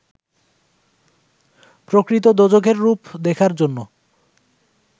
প্রকৃত দোজখের রূপ দেখার জন্য